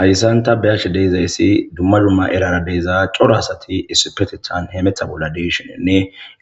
Hayssanta beyashe deizayssi dumma lumma eraara deeza coro asati issipetethan heemetha bolla diishenenne